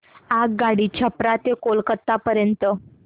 आगगाडी छपरा ते कोलकता पर्यंत